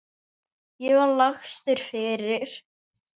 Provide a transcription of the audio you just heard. Ég var lagstur fyrir.